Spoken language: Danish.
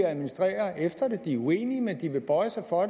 administrere efter det de er uenige men de vil bøje sig for